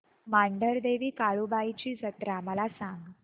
मांढरदेवी काळुबाई ची जत्रा मला सांग